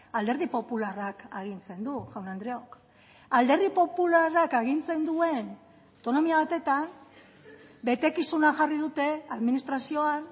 alderdi popularrak agintzen du jaun andreok alderdi popularrak agintzen duen autonomia batetan betekizuna jarri dute administrazioan